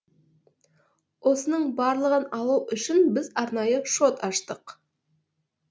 осының барлығын алу үшін біз арнайы шот аштық